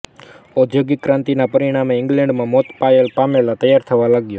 ઔદ્યોગિક ક્રાંતિના પરિણામે ઇંગ્લેન્ડમાં મોતા પાયે માલ તૈયાર થવા લાગ્યો